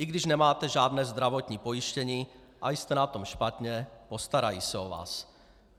I když nemáte žádné zdravotní pojištění a jste na tom špatně, postarají se o vás.